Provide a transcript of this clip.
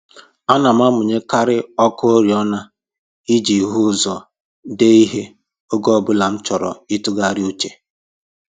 Ana m amụnyekarị ọkụ oriọna iji hụ ụzọ dee ihe oge ọbụla m chọrọ ịtụgharị uche